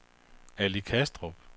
Ali Kastrup